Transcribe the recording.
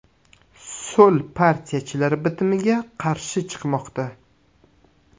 So‘l partiyachilar bitimga qarshi chiqmoqda.